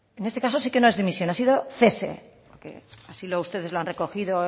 en este caso sí que no es dimisión ha sido cese así ustedes lo han recogido